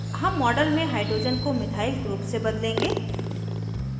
हम model में hydrogen को methyl group से बदलेंगे